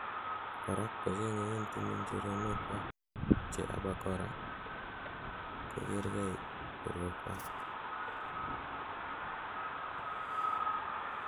Korak kochengei en timin choronokwak, che abakora kogergei borwekwak